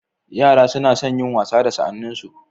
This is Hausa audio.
Yara suna son wasa da sa'anninsu.